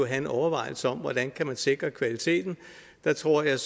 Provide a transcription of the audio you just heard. en overvejelse om hvordan man kan sikre kvaliteten der tror jeg